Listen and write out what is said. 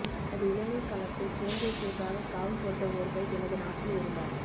தனது இளமைக் காலத்தை சுதந்திரத்திற்காக காவு கொடுத்த ஒருவர் எனது நாட்டில் இருந்தார்